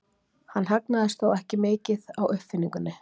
Hann hagnaðist þó ekki mikið á uppfinningunni.